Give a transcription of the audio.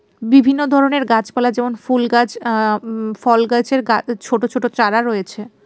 বিভিন্ন ধরনের গাছপালা যেমন ফুল গাছ অ্যা উঁ ফল গাছের গা ছোট ছোট চারা রয়েছে।